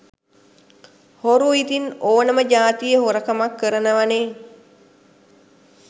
හොරු ඉතිං ඕනමජාතියෙ හොරකමක් කරනවනෙ